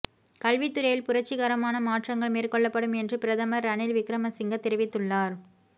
கல்வித்துறையில் புரட்சிகரமான மாற்றங்கள் மேற்கொள்ளப்படும் என்று பிரதமர் ரணில் விக்ரமசிங்க தெரிவித்துள்ளார்